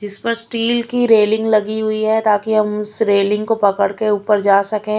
जिस पर स्टील की रेलिंग लगी हुई है ताकि हम उस रेलिंग को पकड़ के ऊपर जा सके।